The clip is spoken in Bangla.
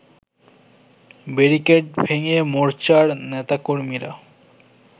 ব্যারিকেড ভেঙ্গে মোর্চার নেতাকর্মীরা